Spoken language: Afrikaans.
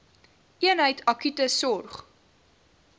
eenheid akute sorg